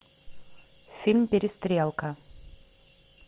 фильм перестрелка